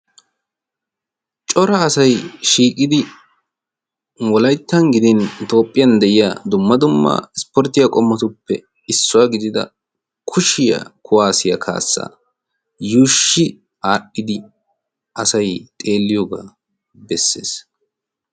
Cora asay shiiqidi wolayttan gidin toophphiyan de'iya dumma dummaa ispporttiya qommotuppe issuwaa gidida kushiyaa kuwaasiyaa kaassa yuushshi aadhdhidi asai xeelliyoogaa bessees.